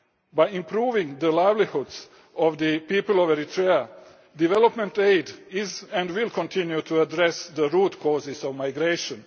of origin. By improving the livelihoods of the people of Eritrea, development aid is addressing and will continue to address the root causes